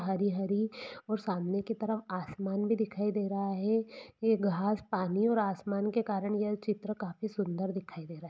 हरी हरी और सामने की तरफ आसमान भी दिखाई दे रहा है ये घास पानी और आसमान के कारण यह चित्र काफी सुंदर दिखाई दे रहा है।